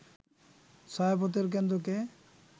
ছায়াপথের কেন্দ্রকে